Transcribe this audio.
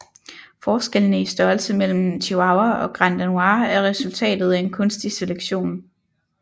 Forskellene i størrelse imellem Chihuahua og Granddanois er resultatet af kunstig selektion